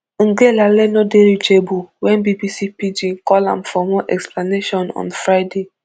ngelale no dey reachable wen bbc pidgin call am for more explanation on friday